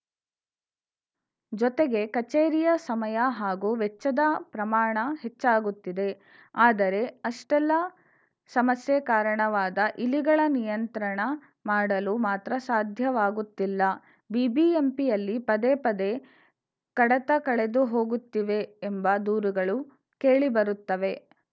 ಜೊತೆಗೆ ಕಚೇರಿಯ ಸಮಯ ಹಾಗೂ ವೆಚ್ಚದ ಪ್ರಮಾಣ ಹೆಚ್ಚಾಗುತ್ತಿದೆ ಆದರೆ ಅಷ್ಟೆಲ್ಲ ಸಮಸ್ಯೆ ಕಾರಣವಾದ ಇಲಿಗಳ ನಿಯಂತ್ರಣ ಮಾಡಲು ಮಾತ್ರ ಸಾಧ್ಯವಾಗುತ್ತಿಲ್ಲ ಬಿಬಿಎಂಪಿಯಲ್ಲಿ ಪದೇಪದೇ ಕಡತ ಕಳೆದು ಹೋಗುತ್ತಿವೆ ಎಂಬ ದೂರುಗಳು ಕೇಳಿಬರುತ್ತವೆ